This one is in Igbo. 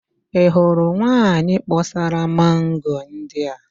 Ị hụrụ nwaanyị kpọsara mango ndị a?